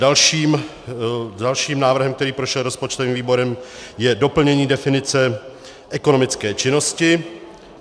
Dalším návrhem, který prošel rozpočtovým výborem, je doplnění definice ekonomické činnosti.